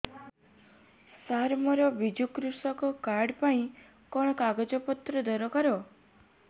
ସାର ମୋର ବିଜୁ କୃଷକ କାର୍ଡ ପାଇଁ କଣ କାଗଜ ପତ୍ର ଦରକାର